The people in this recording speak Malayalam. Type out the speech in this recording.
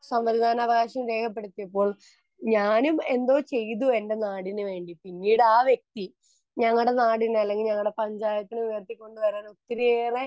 സമ്മതിദാനാവകാശം രേഖപ്പെടുത്തിയപ്പോൾ ഞാനും എന്റെ ചെയ്‌തു എന്റെ നാടിനു വേണ്ടിയിട്ടു പിന്നീട് ആ വ്യക്തി നമ്മുടെ നാടിനു വേണ്ടി അല്ലെങ്കിൽ പഞ്ചായത്തിന് വേണ്ടി ഉയർത്തിക്കൊണ്ടുവരാൻ ഇത്രയേറെ